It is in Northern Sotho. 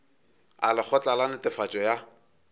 a lekgotla la netefatšo ya